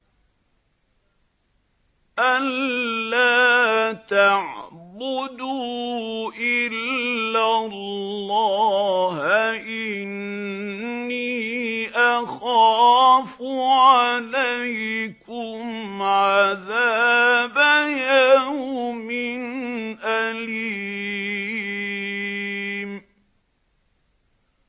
أَن لَّا تَعْبُدُوا إِلَّا اللَّهَ ۖ إِنِّي أَخَافُ عَلَيْكُمْ عَذَابَ يَوْمٍ أَلِيمٍ